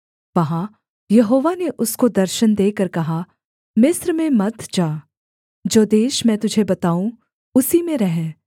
वहाँ यहोवा ने उसको दर्शन देकर कहा मिस्र में मत जा जो देश मैं तुझे बताऊँ उसी में रह